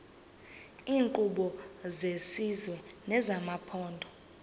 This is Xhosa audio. iinkqubo zesizwe nezamaphondo